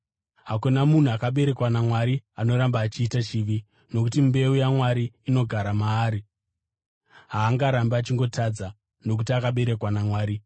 Hakuna munhu akaberekwa naMwari anoramba achiita chivi, nokuti mbeu yaMwari inogara maari; haangarambi achingotadza, nokuti akaberekwa naMwari.